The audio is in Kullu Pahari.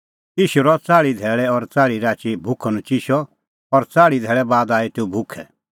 ईशू रहअ च़ाल़्ही धैल़ै और च़ाल़्ही राची भुखअनचिशअ और च़ाल़्ही धैल़ै बाद आई तेऊ भुखै